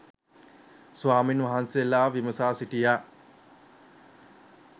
ස්වාමීන් වහන්සේලා විමසා සිටියා